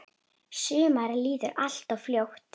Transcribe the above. Sumarið líður alltof fljótt.